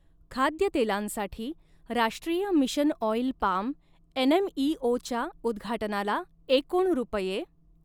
खाद्यतेलांसाठी राष्ट्रीय mission oil palm एनएमइओच्या उद्घाटनाला एकूण रुपये .